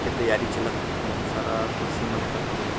के तैयारी चलत हे अऊ बहुत सारा कुर्सी मन एकर हवे हे।